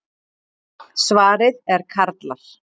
Svarið er karlar.